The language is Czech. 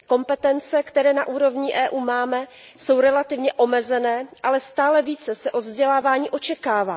Kompetence, které na úrovni EU máme, jsou relativně omezené, ale stále více se od vzdělávání očekává.